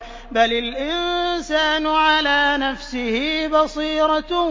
بَلِ الْإِنسَانُ عَلَىٰ نَفْسِهِ بَصِيرَةٌ